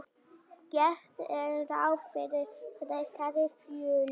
Gert er ráð fyrir frekari fjölgun